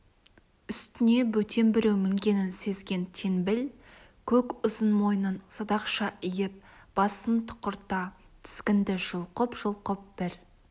үстіне бөтен біреу мінгенін сезген теңбіл көк ұзын мойнын садақша иіп басын тұқырта тізгінді жұлқып-жұлқып бір